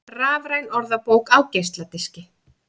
Rafræn orðabók á geisladiski